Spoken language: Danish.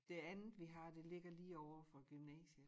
Det andet vi har det ligger lige overfor gymnasiet